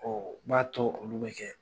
Ɔ n b'a tɔ olu bɛ jɛ